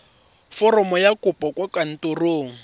foromo ya kopo kwa kantorong